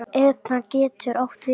Etna getur átt við